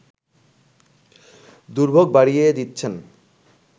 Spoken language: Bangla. দুর্ভোগ বাড়িয়ে দিচ্ছেন